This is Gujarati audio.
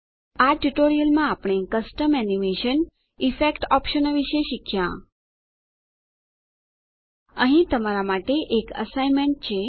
આ ટ્યુટોરીયલમાં આપણે કસ્ટમ એનીમેશન ઈફેક્ટ ઓપ્શનો વિશે શીખ્યાં અહીં તમારા માટે એક એસાઇનમેંટ છે